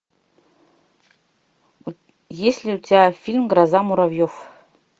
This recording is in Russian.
есть ли у тебя фильм гроза муравьев